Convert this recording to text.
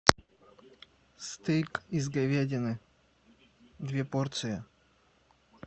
стейк из говядины две порции